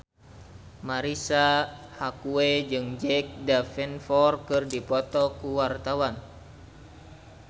Marisa Haque jeung Jack Davenport keur dipoto ku wartawan